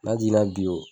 N'a jiginna bi wo